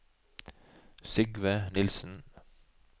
Sigve Nilsen